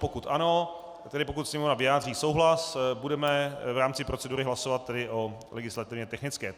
Pokud ano, tedy pokud Sněmovna vyjádří souhlas, budeme v rámci procedury hlasovat tedy o legislativně technické.